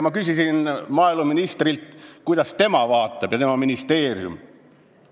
Ma küsisin maaeluministrilt, kuidas tema ja tema ministeerium sellele vaatavad.